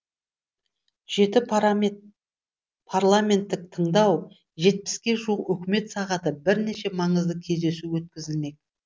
жеті парламенттік тыңдау жетпіске жуық үкімет сағаты бірнеше маңызды кездесу өткізілмек